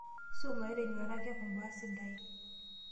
sumayu te nyuata, keaku imbaa sidain.